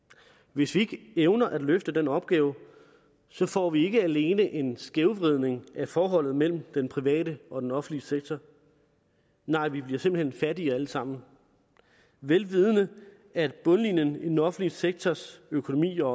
hvis vi ikke evner at løfte den opgave får vi ikke alene en skævvridning af forholdet mellem den private og den offentlige sektor nej vi bliver simpelt hen fattige alle sammen vel vidende at bundlinjen i den offentlige sektors økonomi og